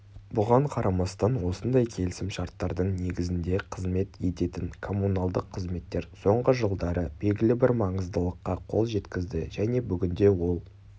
бұған қарамастан осындай келісімшарттардың негізінде қызмет ететін коммуналдық қызметтер соңғы жылдары белгілі бір маңыздылыққа қол жеткізді және бүгінде ол